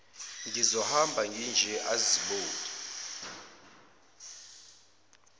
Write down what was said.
ngizohamba nginje azibuke